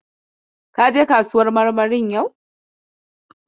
Ka je kasuwar marmarin yau?